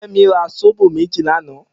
Femi rà sóbó méji lànã